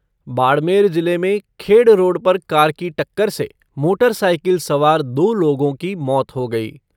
बाड़मेर जिले में खेड़ रोड पर कार की टक्कर से मोटर साईकिल सवार दो लोगों की मौत हो गई